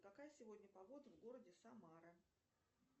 какая сегодня погода в городе самара